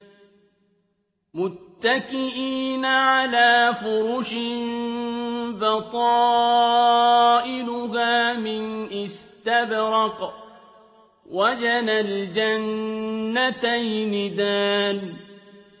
مُتَّكِئِينَ عَلَىٰ فُرُشٍ بَطَائِنُهَا مِنْ إِسْتَبْرَقٍ ۚ وَجَنَى الْجَنَّتَيْنِ دَانٍ